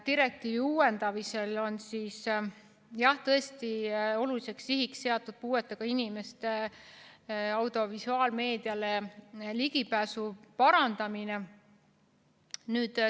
Direktiivi uuendamisel on tõesti oluliseks sihiks seatud puuetega inimeste audiovisuaalmeediale ligipääsu parandamine.